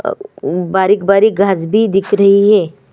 आ बारीक़-बारीक़ घास भी दिख रही है।